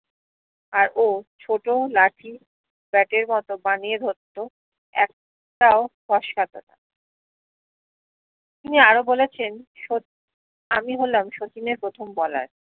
আর ও ছোট লাঠি ব্যাটের মত বানিয়ে ধরত এক টাও ফসকাতো না তিনি আরো বলেছেন সোত আমি হলাম শচীনের প্রথম বলার